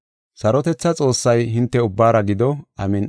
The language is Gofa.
Sarotethaa Xoossay hinte ubbaara gido. Amin7i.